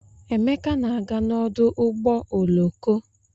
Emeka na-aga n'ọdụ ụgbọ oloko.